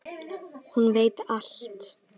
Hún veit allt.